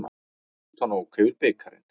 Rútan ók yfir bikarinn